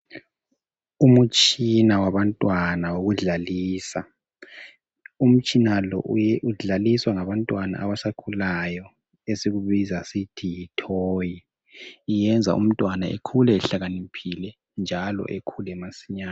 Umtshina wabantwana wokudlalisa. Umtshina lo udlaliswa ngabantwana abasakhulayo esikubiza sisithi yitoy. Iyenza umntwana ekhule ehlakaniphile njalo ekhule masinyane.